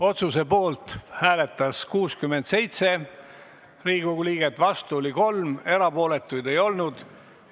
Otsuse poolt hääletas 67 Riigikogu liiget, vastu oli 3, erapooletuid ei olnud.